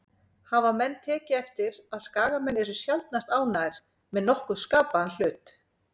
Hafa menn tekið eftir að Skagamenn eru sjaldnast ánægðir með nokkurn skapaðan hlut?